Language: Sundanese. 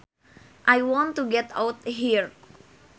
I want to get out here